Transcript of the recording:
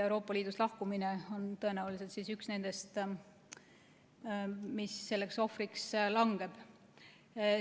Euroopa Liidust lahkumine on tõenäoliselt üks nendest, mis selleks ohvriks langeb.